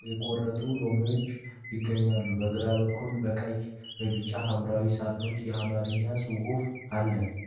የተቆረጡ ሎሚዎች ይገኛሉ። በግራ በኩል በቀይ፣ በቢጫና በሐምራዊ ሳጥኖች የአማርኛ ጽሑፍ አለ።